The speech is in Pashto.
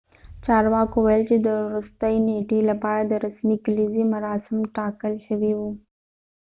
چارواکو وويل چې د ورستۍ نیټې لپاره د رسمي کليزې مراسم ټاکل شوي وو